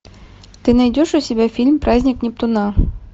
ты найдешь у себя фильм праздник нептуна